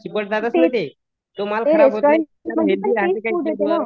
ते रेस्टोरंटमध्ये पण तेच फूड येते नं